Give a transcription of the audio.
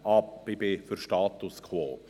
Ich bin für den Status quo.